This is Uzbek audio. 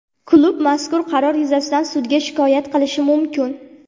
Klub mazkur qaror yuzasidan sudga shikoyat qilishi mumkin.